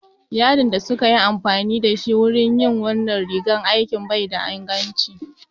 Yadin da suka yi amfani da shi wurin yin wannan rigar aikin bai da inganci